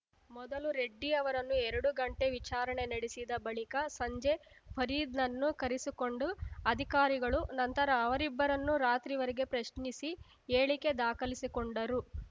ಮೊದಲು ರೆಡ್ಡಿ ಅವರನ್ನು ಎರಡು ಗಂಟೆ ವಿಚಾರಣೆ ನಡೆಸಿದ ಬಳಿಕ ಸಂಜೆ ಫರೀದ್‌ನನ್ನು ಕರೆಸಿಕೊಂಡು ಅಧಿಕಾರಿಗಳು ನಂತರ ಅವರಿಬ್ಬರನ್ನೂ ರಾತ್ರಿವರೆಗೆ ಪ್ರಶ್ನಿಸಿ ಹೇಳಿಕೆ ದಾಖಲಿಸಿಕೊಂಡರು